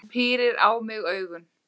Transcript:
Hún pírir á mig augun.